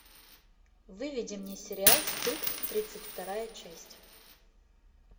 выведи мне сериал стыд тридцать вторая часть